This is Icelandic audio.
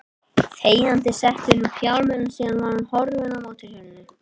Þegjandi setti hún upp hjálminn og síðan var hún horfin á mótorhjólinu.